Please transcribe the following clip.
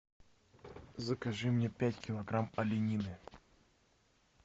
закажи мне пять килограмм оленины